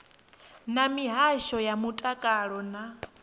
na mihasho ya mutakalo na